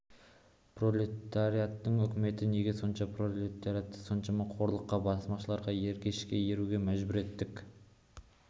пролетариаттың үкіметі неге сол пролетариаты осыншама қорлыққа басмашыларға ергешке еруге мәжбүр еттік